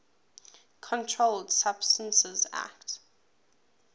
controlled substances acte